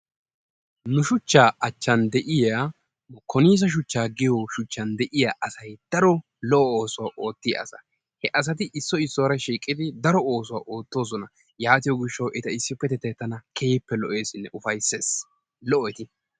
Nu shuchchaa achchan de'iya konisse suchchaa giyo shuchchan de'iya asay daro lo"o oosuwa oottiya asa. He asati issoy issuwara shiiqqidi daro oosuwa oottoosona yaatiyo gishshawu eta issippetettay tana keehippe lo'eessinne ufayssees. Lo"o eti.